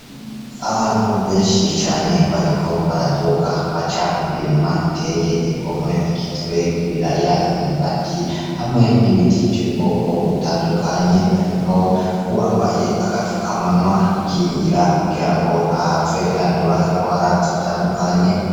Abantu benshi cane bariko baraduga baca mu mirima iteye igomwe igizwe n'ibiraya, imyumbati hamwe n'ibiti vy'ubwoko butandukanye harimwo uwambaye agafukamunwa yikingira kugira ngo ntahave yandura ingwara zitandukanye.